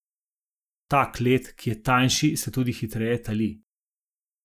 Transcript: Tak led, ki je tanjši, se tudi hitreje tali.